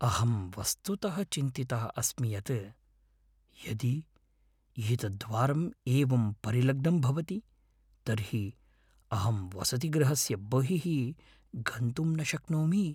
अहं वस्तुतः चिन्तितः अस्मि यत् यदि एतत् द्वारम् एवं परिलग्नं भवति तर्हि अहं वसतिगृहस्य बहिः गन्तुं न शक्नोमि।